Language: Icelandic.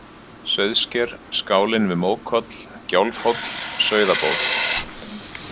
Sauðsker, Skálinn við Mókoll, Gjálfhóll, Sauðaból